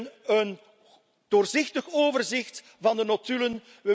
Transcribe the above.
We willen een doorzichtig overzicht van de notulen.